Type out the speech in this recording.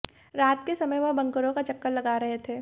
रात के समय में वह बंकरों का चक्कर लगा रहे थे